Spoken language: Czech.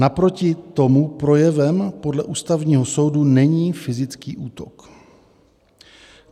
Naproti tomu projevem podle Ústavního soudu není fyzický útok.